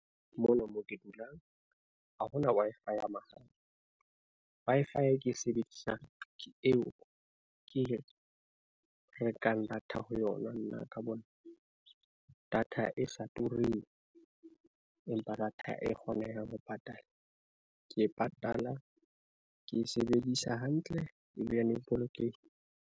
Mona mo ke dulang ha hona Wi-Fi ya mahala. Wi-Fi e ke e sebedisang ke eo e ke rekang data ho yona nna ka bona nna. Data e sa tureng, empa data e kgonehang ho patala, ke e patala ke e sebedisa hantle ebilane e .